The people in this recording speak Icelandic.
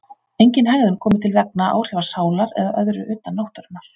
Engin hegðun komi til vegna áhrifa sálar eða öðru utan náttúrunnar.